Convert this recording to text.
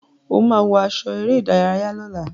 O máa wọ aṣọ eré-ìdárayá lọ́la.